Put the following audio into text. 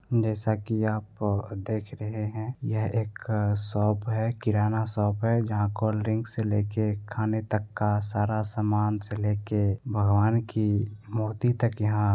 जैसा कि आप देख रहे हैं यह एक अ शॉप है किराना शॉप है जहाँ कोल्ड ड्रिंक से लेके खाने तक का सारा सामान से लेके भगवान की मूर्ति तक यहाँ --